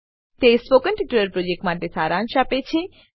તે spoken tutorial પ્રોજેક્ટનો સારાંશ આપે છે